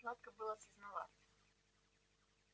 сладко было сознаваться